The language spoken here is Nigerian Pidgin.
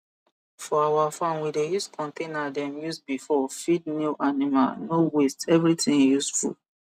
for our farm we dey use container dem use before feed new animal no waste everything useful